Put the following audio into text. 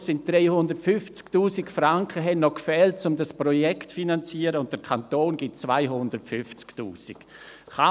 Am Ende fehlten noch 350’000 Franken, um dieses Projekt zu finanzieren, und der Kanton gibt 250’000 Franken.